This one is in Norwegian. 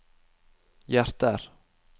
hjerter